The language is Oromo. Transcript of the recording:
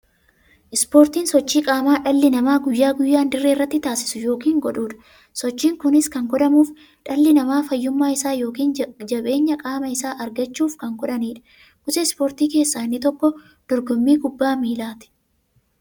Ispoortiin sochii qaamaa dhalli namaa guyyaa guyyaan dirree irratti taasisu yookiin godhuudha. Sochiin kunis kan godhamuuf, dhalli namaa fayyummaa isaa yookiin jabeenya qaama isaa argachuuf kan godhaniidha. Gosa ispoortii keessaa inni tokko dorgommii kubbaa milaati.